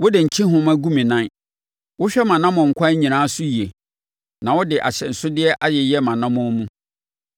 Wode nkyehoma gu me nan; wohwɛ mʼanammɔnkwan nyinaa so yie na wode ahyɛnsodeɛ ayeyɛ mʼanammɔn mu.